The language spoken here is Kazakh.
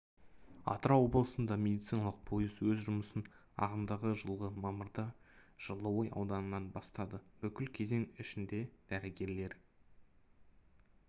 атырау облысында медициналық пойызы өз жұмысын ағымдағы жылғы мамырда жылыой ауданынан бастады бұл кезең ішінде дәрігерлер